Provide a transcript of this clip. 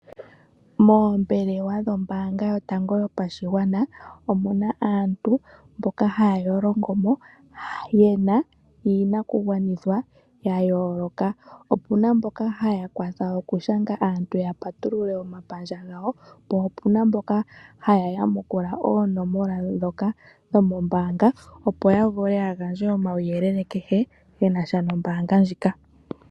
Moombelewa dhombaanga yotango yopashigwana omuna aantu mboka haya longo mo yena iinakugwanithwa yayooloka. Opuna mboka haya kwatha okushanga aantu ya patulule omapandja gawo, po opuna mboka haya yamukula oonomola ndhoka dho mombaanga opo ya vule yagandje omauyelele kehe genasha noombaanga ndjika.